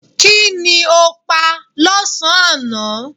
Kí ni o pa lọ́sàn-án aná?